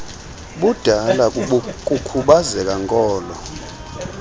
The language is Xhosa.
budala kukhubazeka nkolo